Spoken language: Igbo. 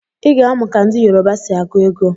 Iga amụ ka ndi yoruba si agu ego!!